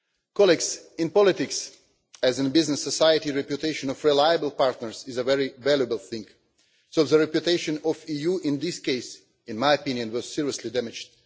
Colleagues, in politics as in a business company, reputation of reliable partners is a very valuable thing, and the reputation of the EU in this case, in my opinion, was seriously damaged.